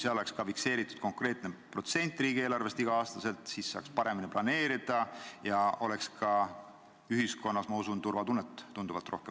Kui oleks ka fikseeritud konkreetne protsent riigieelarvest igal aastal, siis saaks paremini planeerida ja ka ühiskonnas, ma usun, oleks turvatunnet tunduvalt rohkem.